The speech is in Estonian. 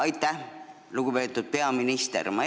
Aitäh, lugupeetud peaminister!